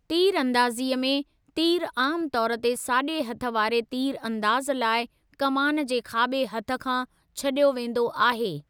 तीरअंदाज़ीअ में, तीरु आमु तौर ते साॼे हथ वारे तीरअंदाज़ु लाइ कमान जे खाॿे हथ खां छॾियो वेंदो आहे।